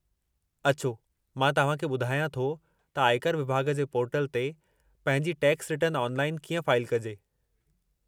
अचो मां तव्हां खे ॿुधायां थो त आयकर विभाॻ जे पोर्टल ते पंहिंजी टैक्स रिटर्न ऑनलाइनु कीअं फाइलु कजे।